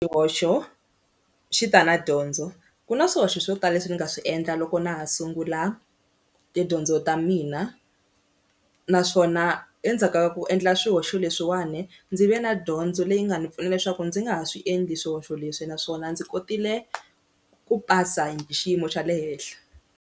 Xihoxo xi ta na dyondzo ku na swihoxo swo tala leswi ni nga swi endla loko na ha sungula tidyondzo ta mina naswona endzhaka ku endla swihoxo leswiwani ndzi ve na dyondzo leyi nga ni pfuna leswaku ndzi nga ha swi endli swihoxo leswi naswona ndzi kotile ku pasa hi xiyimo xa le henhla.